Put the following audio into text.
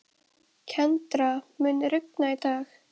Kendra, mun rigna í dag?